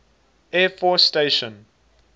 air force station